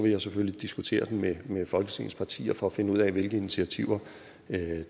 jeg selvfølgelig diskutere den med med folketingets partier for at finde ud af hvilke initiativer